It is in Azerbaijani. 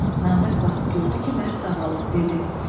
Namərd baxıb gördü ki, mərd sağalıb, dedi: